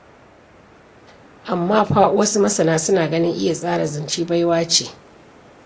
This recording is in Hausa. Amma fa wasu masana suna ganin iya tsara zance baiwa ce.